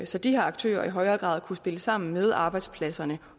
så de her aktører i højere grad kunne spille sammen med arbejdspladserne